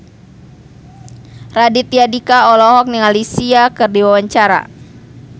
Raditya Dika olohok ningali Sia keur diwawancara